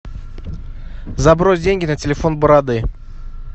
забрось деньги на телефон бороды